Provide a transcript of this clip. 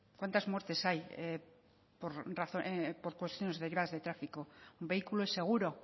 cuántas muertes hay por cuestiones derivadas de tráfico un vehículo es seguro